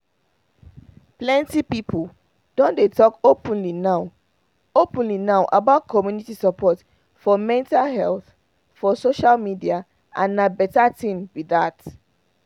plenty people don dey talk openly now openly now about community support for mental health for social media and na better thing be that